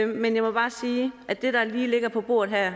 men jeg må bare sige at det der lige ligger på bordet her